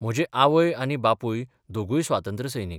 म्हजे आवय आनी बापूय दोगूय स्वातंत्र्य सैनीक.